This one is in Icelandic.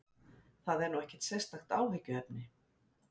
Það er nú ekkert sérstakt áhyggjuefni